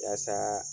Yasa